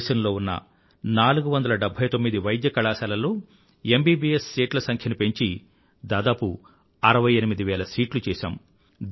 దేశంలో ఉన్న 479 వైద్య కళాశాలల్లో ఎంబీబీఎస్ సీట్ల సంఖ్యను పెంచి దాదాపు 68 వేల సీట్లు చేసాము